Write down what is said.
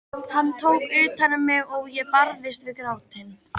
Hann tók utan um mig og ég barðist við grátinn.